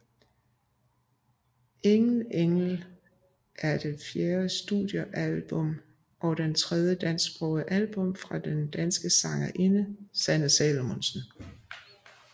Ingen engel er det fjerde studiealbum og det tredje dansksprogede album fra den danske sangerinde Sanne Salomonsen